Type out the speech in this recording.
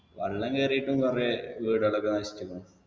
വെള്ളം കേറീട്ടും കൊറേ വീടുകളൊക്കെ നശിച്ചിരുന്നു